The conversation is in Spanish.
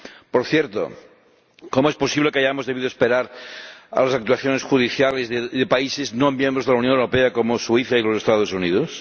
Por cierto, ¿cómo es posible que hayamos debido esperar a las actuaciones judiciales de países no miembros de la Unión Europea, como Suiza y los Estados Unidos?